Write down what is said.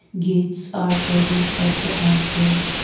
gates are present at the entrance.